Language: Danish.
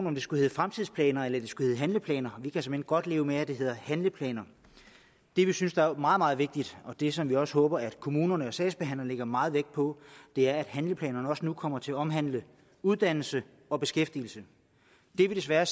om det skulle hedde fremtidsplaner eller det skulle hedde handleplaner vi kan såmænd godt leve med at det hedder handleplaner det vi synes er meget meget vigtigt og det som vi også håber at kommunerne og sagsbehandlerne lægger meget vægt på er at handleplanerne nu også kommer til at omhandle uddannelse og beskæftigelse det vi desværre